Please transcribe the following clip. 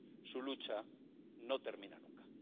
Su lucha no termina nunca.